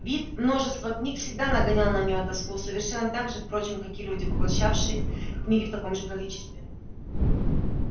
вид множества книг всегда нагонял на нее тоску совершенно так же впрочем как и люди поглощавшие книги в таком же количестве